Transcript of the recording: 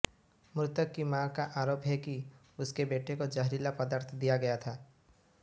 मृतक की मां का आरोप है कि उसके बेटे को जहरीला पदार्थ दिया गया था